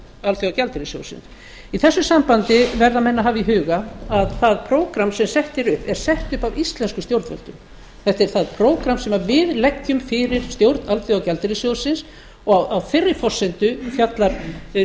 alþjóðagjaldeyrissjóðsins í þessu sambandi verða menn að hafa í huga að það prógramm sem sett er upp er sett upp af íslenskum stjórnvöldum þetta er það prógramm sem við leggjum fyrir stjórn alþjóðagjaldeyrissjóðsins og á þeirri forsenda fjallar sjóðurinn